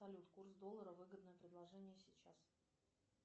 салют курс доллара выгодное предложение сейчас